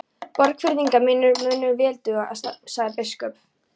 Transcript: Borgfirðingar mínir munu vel duga, sagði biskup.